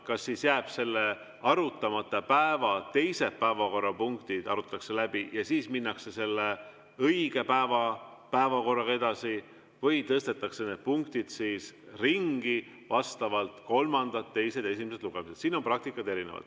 Kas selle arutamata päeva teised päevakorrapunktid arutatakse läbi ja siis minnakse selle õige päeva päevakorraga edasi või tõstetakse need punktid ringi, nii et vastavalt on kolmandad, teised ja esimesed lugemised, siin on praktika erinev.